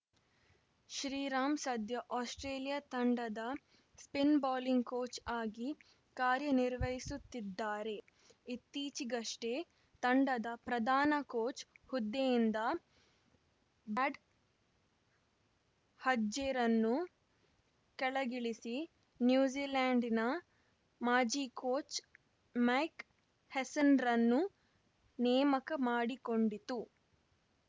Shriram Australia ಆಸ್ಪ್ರೇಲಿಯಾ ತಂಡದ spin bowling coach ಆಗಿ ಕಾರ್ಯನಿರ್ವಹಿಸುತ್ತಿದ್ದಾರೆ ಇತ್ತೀಚಿಗಷ್ಟೇ ತಂಡದ ಪ್ರಧಾನ ಕೋಚ್‌ ಹುದ್ದೆಯಿಂದ ಬ್ರಾಡ್‌ ಹಡ್ಜ್‌ರನ್ನು ಕೆಳಗಿಳಿಸಿ ನ್ಯೂಜಿಲೆಂಡ್‌ನ ಮಾಜಿ ಕೋಚ್‌ ಮೈಕ್‌ ಹೆಸ್ಸನ್‌ರನ್ನು ನೇಮಕ ಮಾಡಿಕೊಂಡಿತ್ತು